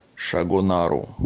шагонару